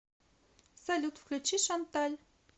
салют включи шанталь